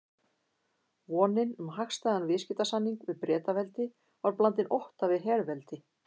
Vonin um hagstæðan viðskiptasamning við Bretaveldi var blandin ótta við herveldi